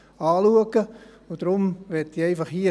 Deshalb möchte ich hier einfach sagen: